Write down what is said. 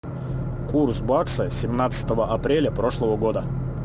курс бакса семнадцатого апреля прошлого года